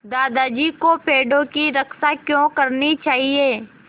दादाजी को पेड़ों की रक्षा क्यों करनी चाहिए